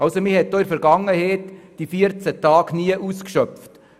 Die 14 Tage wurden in der Vergangenheit nie ausgeschöpft.